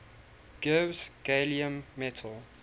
gives gallium metal